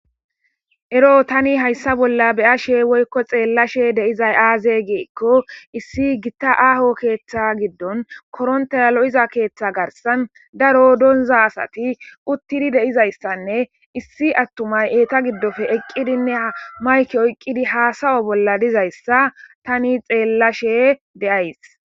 Ero tani hayssa bolla beya she woykko xeellashe deizay aaze geekko issi gitta aaho keeththa giddon korontaya lo7iza keeththa garsan daro donza asati uttidi deizayssanne issi attumay eeta giddope eqqidinne ha mayki oyqqidi haasawo bolla dizayssa tani xeellashe deyays.